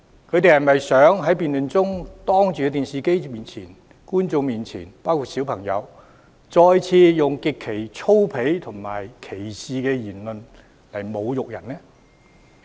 他們是否想在辯論中對着電視機前的觀眾包括小朋友再次以極為粗鄙和帶有歧視的言論侮辱人呢？